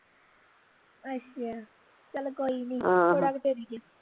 ਅੱਛਾ ਚੱਲ ਕੋਈ ਨੀ ਥੋੜਾ ਕਿ ਚਿਰ ਈ ਆ